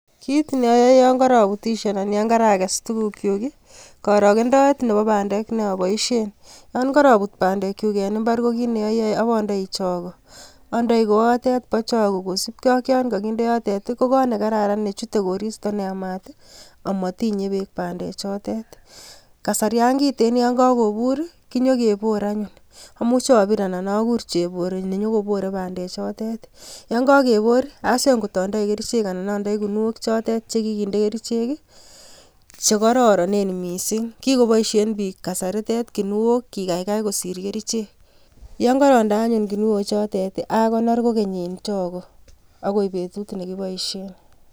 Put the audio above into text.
Kit neayoe yon karaputisie anan yon karages tugukyuk ii, korogendoet nebo bandek ne aboisien. Yon karaput bandekyuk en imbar ko kit ne ayoe ubaendi chago. Andai koatet bo chago kosipke ak yon kaginde yotet ii ko kot ne kararan ne chute koristo ne yamat ii amatinye beek bandechotet. Kasarian kiten yon kakobur konyekebor anyun. Amuche abir ana agur chebore nenyogobore bandak chotet. Yon kagebor ii aswe ngot andei kerichek ana andei kunio chotet che kiginde kerichek ii che kororonen mising. Kigoboisien biik kasaritet kuniok kigagai kosir kerichek. Yon karonde anyun kunio chotet ii agonor kogeny eng chago agoi betut ne kiboisien.